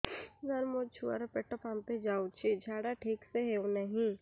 ସାର ମୋ ଛୁଆ ର ପେଟ ଫାମ୍ପି ଯାଉଛି ଝାଡା ଠିକ ସେ ହେଉନାହିଁ